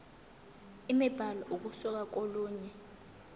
imibhalo ukusuka kolunye